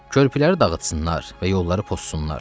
Körpüləri dağıtsınlar və yolları pozsunlar.